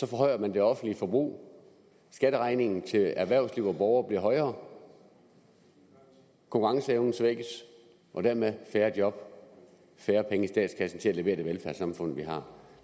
forhøjer man det offentlige forbrug skatteregningen til erhvervsliv og borgere bliver højere konkurrenceevnen svækkes og dermed kommer færre job og færre penge i statskassen til at levere det velfærdssamfund vi har